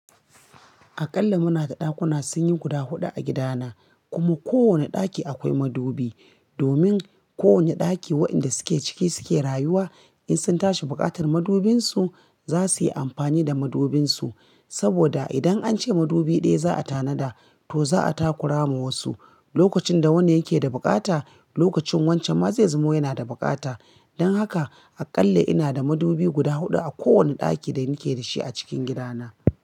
Akalla muna da ɗakuna sun yi guda huɗu a gida na, kuma ko wane ɗaki akwai madubi. Domin ko wane ɗaki wayanda suke ciki suke rayuwa, in sun tashi buƙatar madubinsu, za suyi amfani da madubinsu. Saboda idan an ce madubi ɗaya za a tanada, to za a takura ma wasu. Lokacin da wani yake da bukata, lokacin wancan ma zai zamo yana da bukata. Don haka akalla ina da madubi guda huɗu a kowane ɗaki da muke da shi a cikin gida na.